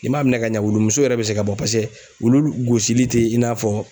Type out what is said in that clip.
N'i m'a minɛ ka ɲa wulu muso yɛrɛ bɛ se ka bɔ paseke olu gosili tɛ i n'a fɔ